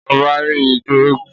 Ọba rí ijó eégún